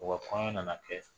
U ka kɔɲɔn nana kɛ